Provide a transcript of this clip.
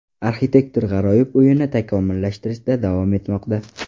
Arxitektor g‘aroyib uyini takomillashtirishda davom etmoqda.